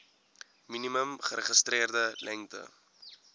minimum geregistreerde lengte